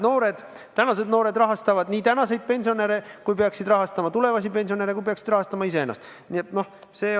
Ja tänased noored rahastavad tänaseid pensionäre ja peavad tulevikus rahastama ka iseennast ja teisi pensionäre.